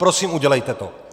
Prosím, udělejte to!